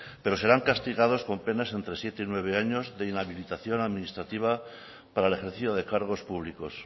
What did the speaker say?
pero serán castigados con penas entre siete y nueve años de inhabilitación administrativa para el ejercicio de cargos públicos